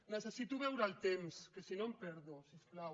necessito veure el temps que si no em perdo si us plau